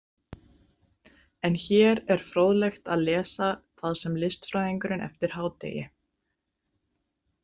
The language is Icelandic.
En hér er fróðlegt að lesa það sem listfræðingurinn eftir hádegi